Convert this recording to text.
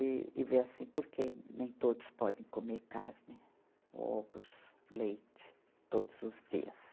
E, e ver assim, porque nem todos podem comer carne, ovos, leite todos os dias.